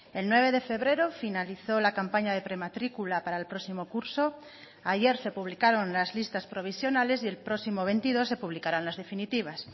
el nueve de febrero finalizó la campaña de prematrícula para el próximo curso ayer se publicaron las listas provisionales y el próximo veintidós se publicarán las definitivas